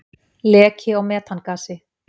Leki á metangasi.